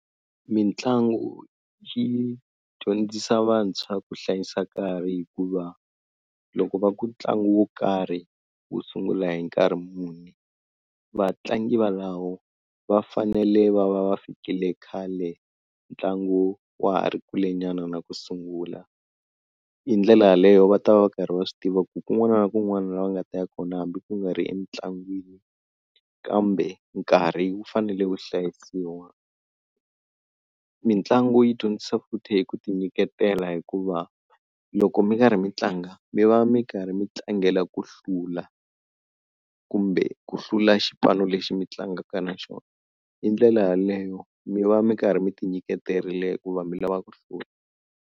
Mitlangu yi dyondzisa vantshwa ku hlayisa nkarhi hikuva loko va ku ntlangu wo karhi wu sungula hi nkarhi muni vatlangi valawo va fanele va va va fikile khale ntlangu wa ha ri kule nyana na ku sungula hi ndlela yaleyo va ta va karhi va swi tiva ku kun'wana na kun'wana la va nga ta ya kona hambi ku nga ri emitlangwini kambe nkarhi wu fanele wu hlayisiwa. Mitlangu yi dyondzisa futhi hi ku ti nyiketela hikuva loko mi karhi mi tlanga mi va mi karhi mi tlangela ku hlula kumbe ku hlula xipano lexi mi tlangaka na xona hi ndlela yaleyo mi va mi karhi mi ti nyiketerile ku va mi lava ku hlula.